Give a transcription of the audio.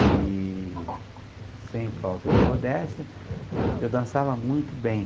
E sem falta de modéstia, eu dançava muito bem.